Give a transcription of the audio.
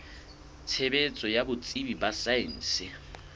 tshebetso ya botsebi ba saense